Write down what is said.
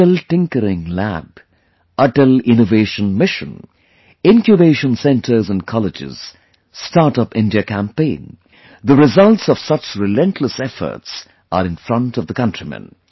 Atal Tinkering Lab, Atal Innovation Mission, Incubation Centres in colleges, StartUp India campaign... the results of such relentless efforts are in front of the countrymen